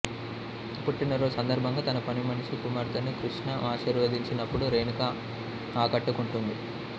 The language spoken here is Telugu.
పుట్టినరోజు సందర్భంగా తన పనిమనిషి కుమార్తెను కృష్ణ ఆశీర్వదించినప్పుడు రేణుక ఆకట్టుకుంటుంది